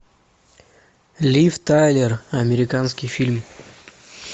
лив тайлер американский фильм